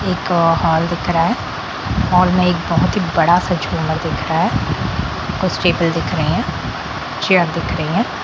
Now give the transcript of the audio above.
एक हॉल दिख रहा हैं हॉल में एक बहुत ही बड़ा सा झूमर दिख रहा हैं कुछ टेबल दिख रहे हैं चेयर दिख रहे हैं।